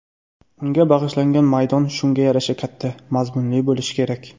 Unga bag‘ishlangan maydon shunga yarasha katta, mazmunli bo‘lishi kerak.